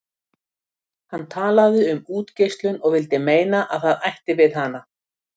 Hann talaði um útgeislun og vildi meina að það ætti við hana.